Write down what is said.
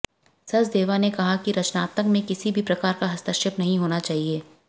सचदेवा ने कहा कि रचनात्मकता में किसी भी प्रकार का हस्तक्षेप नहीं होना चाहिए